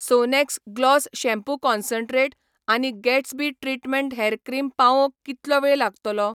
Sonax gloss shampoo concentrate आनी Gatsby treatment hair cream पावोवंक कितलो वेळ लागतलो ?